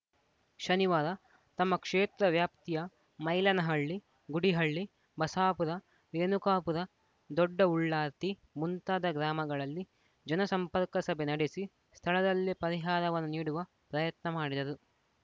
ಶನಿವಾರ ತಮ್ಮ ಕ್ಷೇತ್ರ ವ್ಯಾಪ್ತಿಯ ಮೈಲನಹಳ್ಳಿ ಗುಡಿಹಳ್ಳಿ ಬಸಾಪುರ ರೇಣುಕಾಪುರ ದೊಡ್ಡ ಉಳ್ಳಾರ್ತಿ ಮುಂತಾದ ಗ್ರಾಮಗಳಲ್ಲಿ ಜನ ಸಂಪರ್ಕ ಸಭೆ ನಡೆಸಿ ಸ್ಥಳದಲ್ಲೇ ಪರಿಹಾರವನ್ನು ನೀಡುವ ಪ್ರಯತ್ನ ಮಾಡಿದರು